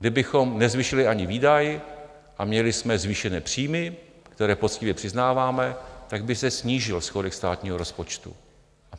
Kdybychom nezvýšili ani výdaj a měli jsme zvýšené příjmy, které poctivě přiznáváme, tak by se snížil schodek státního rozpočtu.